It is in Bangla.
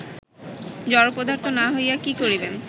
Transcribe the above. জড়পদার্থ না হইয়া কি করিবেন